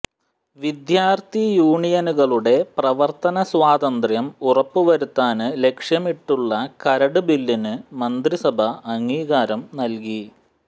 വിദ്യാര്ത്ഥി യൂണിയനുകളുടെ പ്രവര്ത്തന സ്വാതന്ത്ര്യം ഉറപ്പു വരുത്താന് ലക്ഷ്യമിട്ടുള്ള കരട് ബില്ലിന് മന്ത്രിസഭ അംഗീകാരം നല്കി